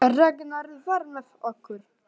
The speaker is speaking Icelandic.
Ragnar var með okkur.